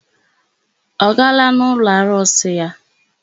Ọ gara n'ụlọarụsị ya?